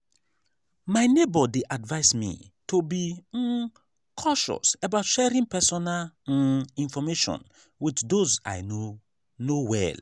my neighbor dey advise me to be um cautious about sharing personal um information with those i no know well.